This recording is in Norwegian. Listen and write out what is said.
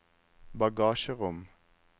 bagasjerom